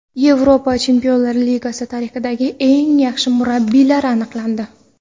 Yevropa Chempionlar Ligasi tarixidagi eng yaxshi murabbiylar aniqlandi.